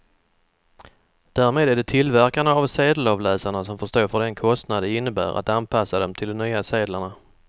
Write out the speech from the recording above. Därmed är det tillverkarna av sedelavläsarna som får stå för den kostnad det innebär att anpassa dem till de nya sedlarna.